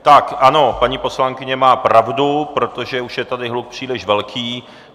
Tak ano, paní poslankyně má pravdu, protože už je tady hluk příliš velký.